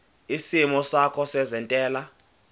isimo sakho sezentela